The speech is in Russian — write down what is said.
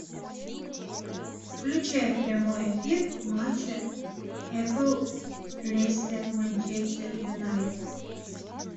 включай прямой эфир матча апл лестер манчестер юнайтед